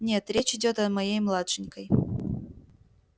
нет речь идёт о моей младшенькой